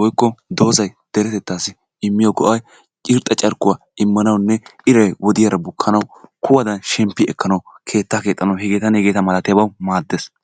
woykko dozzay deretettaasi immiyo go'ay irxxa carkkuwa imanawunne iray wodiyara bukanawu, kuwadan shemppi ekanawu ,keettaa keexxanawu hegeetanne hegeeta malatiyabawu maaddees.